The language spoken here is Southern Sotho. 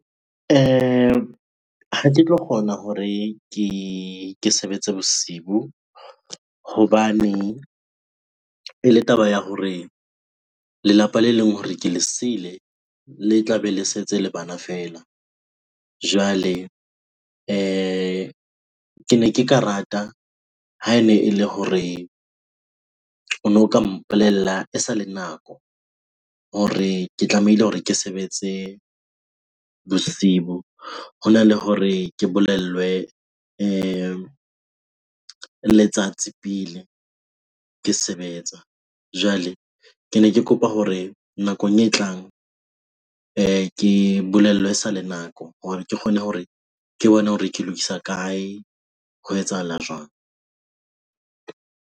Ha ke tlo kgona hore ke sebetse bosibu hobane ele taba ya hore lelapa le leng hore ke le siile, le tla be le setse le bana feela. Jwale kene ke ka rata ha ene e le hore ono ka mpolella e sa le nako hore ke tlamehile hore ke sebetse bosibu hona le hore ke bolellwe le letsatsi pele ke sebetsa. Jwale kene ke kopa hore nakong e tlang ke bolellwe esale nako hore ke kgone hore ke bone hore ke lokisa kae? Ho etsahala jwang?